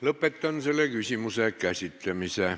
Lõpetan selle küsimuse käsitlemise.